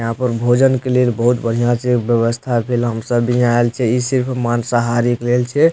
यहाँ पर भोजन के लिए बहुत बढ़िया से व्यवस्था भेल हम सब भी यहाँ आएल छे ई सिर्फ माँसाहारी के लेल छे।